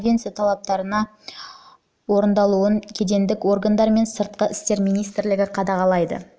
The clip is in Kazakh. конвенция талаптарының орындалуын кедендік органдар мен сыртқы істер министрлігі қадағалайды